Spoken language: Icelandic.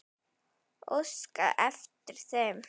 Óskaði eftir þeim?